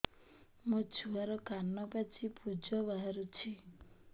ମୋ ଛୁଆର କାନ ପାଚି ପୁଜ ବାହାରୁଛି